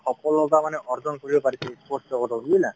সফলতা মানে অৰ্জন কৰিব পাৰিছে sports জগতত, বুজিলা?